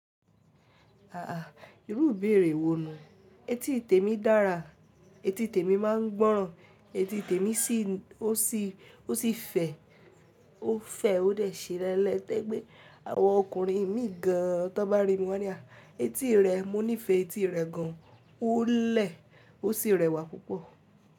Aà irú ìbéèrè wò nu. Eti témi dára, eti tèmi máa ń gbọ́ràn, eti tèmi sì ó sì ó sì fẹ̀, ó fẹ̀ ó dɛ ṣe ẹlẹ́tẹ́ pé àwọn ọkùnrin mí gan tan bá rí mi wọn a ní à eti rẹ, mo nífẹ̀ẹ́ eti rẹ gan, ó lẹ̀, ó sì rẹwà púpọ̀.